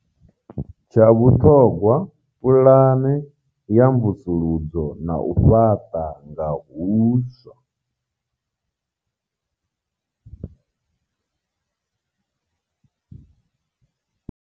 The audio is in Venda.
Tsha vhuṱhogwa, puḽane ya mvusuludzo na u fhaṱa nga huswa.